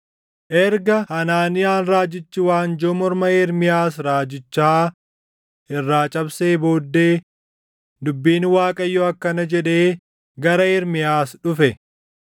Erga Hanaaniyaan raajichi waanjoo morma Ermiyaas raajichaa irraa cabsee booddee dubbiin Waaqayyoo akkana jedhee gara Ermiyaas dhufe: